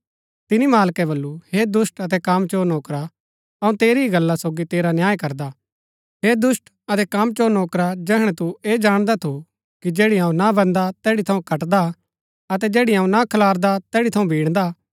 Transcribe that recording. तिनी मालकै वलु हे दुष्‍ट अतै कामचोर नौकरा अऊँ तेरी ही गल्ला सोगी तेरा न्याय करदा हे दुष्‍ट अतै कामचोर नौकरा जैहणै तू ऐह जाणदा थू कि जैड़ी अऊँ ना बान्दा तैड़ी थऊँ कटदा अतै जैड़ी अऊँ ना खलारदा तैड़ी थऊँ बिणदा